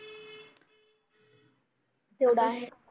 तेवढं आहे